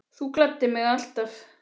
Þú gladdir mig alltaf.